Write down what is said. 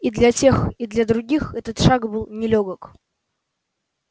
и для тех и для других этот шаг был нелёгок